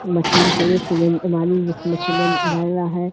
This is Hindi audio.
मशीन खड़ी सीमेंट वाली जिसने सीमेंट बर रहा है।